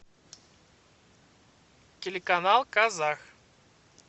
телеканал казах